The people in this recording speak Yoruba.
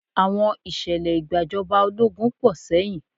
Àwọn Ìṣẹ̀lẹ̀ ìgbàjọba ológun pọ̀ sẹ́yìn